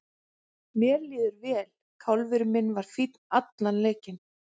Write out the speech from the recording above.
Mér líður vel, kálfinn minn var fínn allan leikinn.